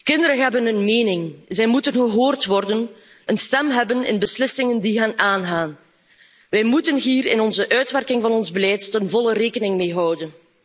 Kinderen hebben een mening. Zij moeten gehoord worden en een stem hebben bij beslissingen die hen aangaan. Wij moeten hier bij de uitwerking van ons beleid ten volle rekening mee houden.